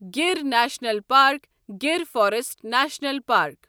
Gir national park Gir forest national park